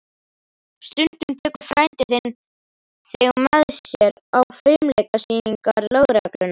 Stundum tekur frændi þinn þig með sér á fimleikasýningar lögreglunnar.